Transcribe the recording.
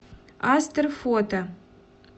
астер фото